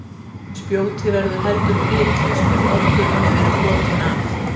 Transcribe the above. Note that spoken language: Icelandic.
Spjótið verður heldur bitlaust ef oddurinn hefur verið brotinn af.